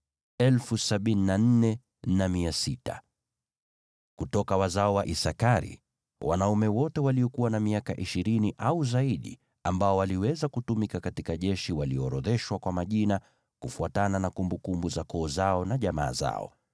Kutoka wazao wa Isakari: Wanaume wote waliokuwa na miaka ishirini au zaidi ambao waliweza kutumika katika jeshi waliorodheshwa kwa majina, kufuatana na kumbukumbu za koo zao na jamaa zao.